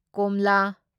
ꯀꯣꯝꯂꯥ